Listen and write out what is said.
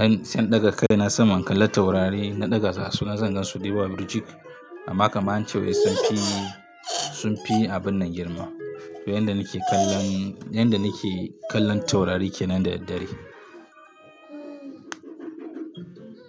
yin se in ɗaga kai na saman kallon taurari, na ɗaga gasu, na zanga su yawa birjig. Amma kaman ance wai sun fi, sun fi abun nan girma. To yanda nake kallon, yanda nake kallon taurari kenan da daddare.